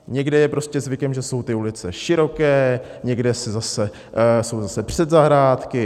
Někde je prostě zvykem, že jsou ty ulice široké, někde jsou zase předzahrádky.